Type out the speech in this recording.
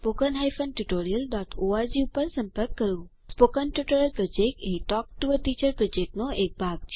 spoken tutorial project એ talk to a teacher પ્રોજેક્ટનો એક ભાગ છે